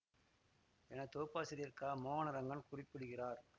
என தொகுப்பாசிரியர் க மோகனரங்கன் குறிப்பிடுகிறார்